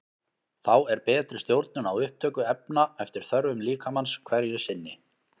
Þá er betri stjórnun á upptöku efna eftir þörfum líkamans hverju sinni.